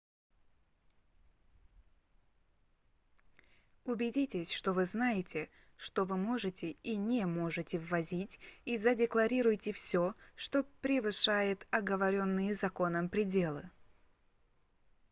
убедитесь что вы знаете что вы можете и не можете ввозить и задекларируйте всё что превышает оговоренные законом пределы